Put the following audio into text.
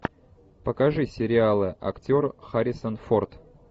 покажи сериалы актер харрисон форд